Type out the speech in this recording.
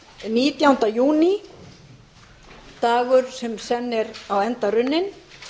nítjánda júní dagur sem senn er á enda runninn